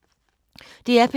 DR P3